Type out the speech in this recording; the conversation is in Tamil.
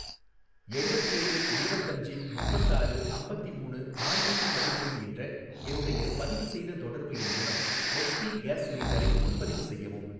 எழுவத்தேழு இருவத்தஞ்சி முப்பத்தாறு அம்பத்திமூணு ஆற்நூத்தி பதிமூணு என்ற என்னுடைய பதிவுசெய்த தொடர்பு எண் மூலம் ஹெச்பி கேஸ் சிலிண்டரை முன்பதிவு செய்யவும்.